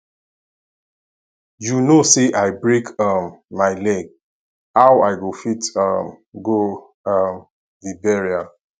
you know say i break um my leg how i go fit um go um the burial